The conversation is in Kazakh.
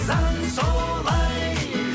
заң солай